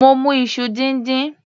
Mo mu iṣu díndín.